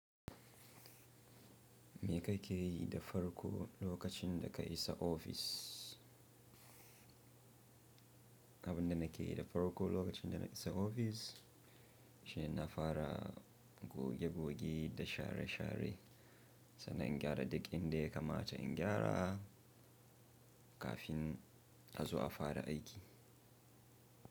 Me ka ke yi da farko lokacin da ka isa ofis? Abin da na ke yi da farko lokacin da na isa ofis shine na fara goge-goge da share-share, sannan in gyara duk inda ya kamata in gyara kafin in azu a fara aiki.